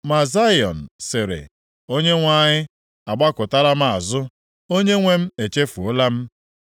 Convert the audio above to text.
Ma Zayọn sịrị, “ Onyenwe anyị agbakụtala m azụ; Onyenwe m echefuola m.”